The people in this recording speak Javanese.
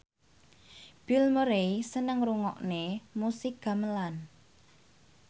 Bill Murray seneng ngrungokne musik gamelan